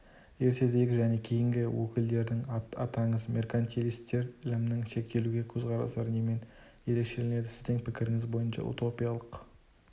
ертедегі және кейінгі өкілдерін атаңыз меркантилистер ілімнің шектелугіне көзқарастар немен ерекшеленеді сіздің пікірініз бойынша утопиялық